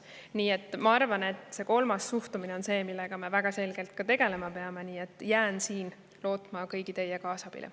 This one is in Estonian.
Nii et ma arvan, et see kolmas, suhtumine on see, millega me väga selgelt ka tegelema peame, ja jään siin lootma kõigi teie kaasabile.